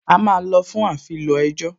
A máa lọ fún afilọ ẹjọ́